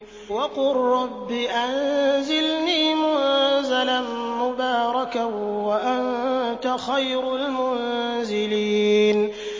وَقُل رَّبِّ أَنزِلْنِي مُنزَلًا مُّبَارَكًا وَأَنتَ خَيْرُ الْمُنزِلِينَ